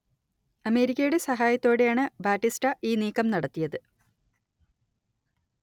അമേരിക്കയുടെ സഹായത്തോടെയാണ് ബാറ്റിസ്റ്റ ഈ നീക്കം നടത്തിയത്